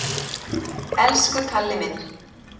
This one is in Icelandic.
Elsku Kalli minn!